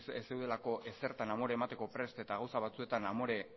ez zeudelako ezertan amore emateko prest eta gauzak batzuetan amore